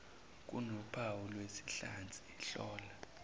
kunophawu lwezinhlansi hlola